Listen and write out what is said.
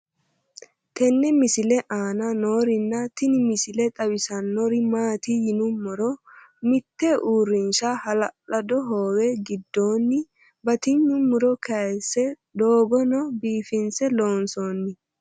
tenne misile aana noorina tini misile xawissannori maati yinummoro mitte uurinshsha hala'lado hoowe gidoonni batinye muro kaayiisse dogoonno biiffinsse loonsoonni